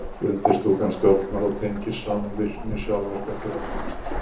undirstúkan stjórnar og tengir saman virkni sjálfvirka taugakerfisins